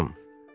Xanım.